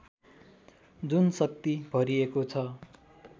जुन शक्ति भरिएको छ